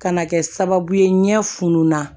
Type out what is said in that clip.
Ka na kɛ sababu ye ɲɛ funununna